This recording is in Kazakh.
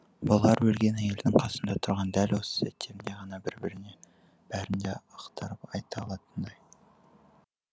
бұлар өлген әйелдің қасында тұрған дәл осы сәттерінде ғана бір біріне бәрін де ақтарып айта алатындай